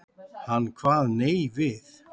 Hann kvað nei við.